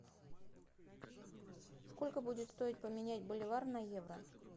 сколько будет стоить поменять боливар на евро